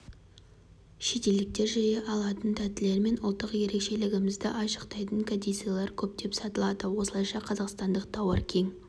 шетелдіктер жиі алатын тәттілер мен ұлттық ерекшелігімізді айшықтайтын кәдесыйлар көптеп сатылады осылайша қазақстандық тауар кең